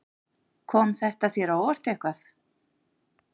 Kom þetta þér á óvart eitthvað?